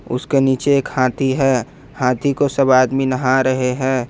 उसके नीचे एक हाथी है हाथी को सब आदमी नहा रहे हैं।